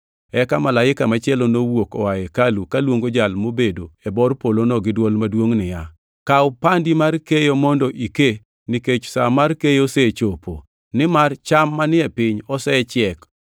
Eka malaika machielo nowuok oa e hekalu kaluongo jal mobedo e bor polono gi dwol maduongʼ niya, “Kaw pandi mar keyo mondo ike, nikech sa mar keyo osechopo, nimar cham manie piny, osechiek.”